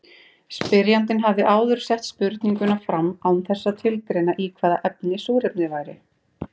Spyrjandi hafði áður sett spurninguna fram án þess að tilgreina í hvaða efni súrefnið væri.